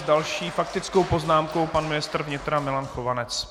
S další faktickou poznámkou pan ministr vnitra Milan Chovanec.